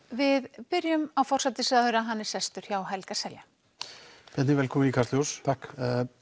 við byrjum á forsætisráðherra hann er sestur hjá Helga Seljan Bjarni velkominn í Kastljós takk